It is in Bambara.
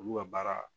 Olu ka baara